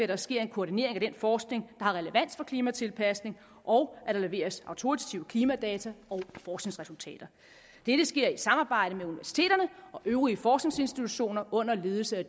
der sker en koordinering af den forskning har relevans for klimatilpasning og at der leveres autoritative klimadata og forskningsresultater dette sker i samarbejde med universiteterne og øvrige forskningsinstitutioner under ledelse af